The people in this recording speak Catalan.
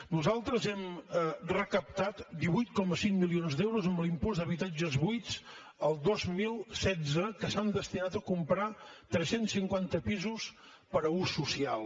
nosaltres hem recaptat divuit coma cinc milions d’euros amb l’impost d’habitatges buits el dos mil setze que s’han destinat a comprar tres cents i cinquanta pisos per a ús social